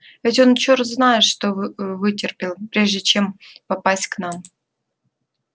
ведь он чёрт знает что ээ вытерпел прежде чем попасть к нам